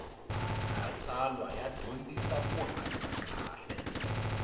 matsalwa ya dyondzisa ku hanya kahle